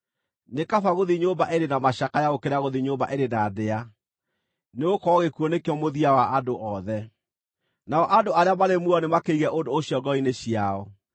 Nĩ kaba gũthiĩ nyũmba ĩrĩ na macakaya gũkĩra gũthiĩ nyũmba ĩrĩ na ndĩa, nĩgũkorwo gĩkuũ nĩkĩo mũthia wa andũ othe; nao andũ arĩa marĩ muoyo nĩmakĩige ũndũ ũcio ngoro-inĩ ciao.